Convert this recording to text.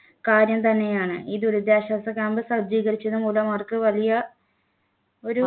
കാര്യം തന്നെയാണ് ഈ ദുരിതാശ്വാസ camp സജ്ജീകരിച്ചത് മൂലം അവർക്ക് വലിയ ഒരു